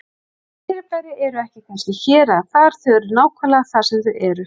Þessi fyrirbæri eru ekki kannski hér eða þar, þau eru nákvæmlega þar sem þau eru.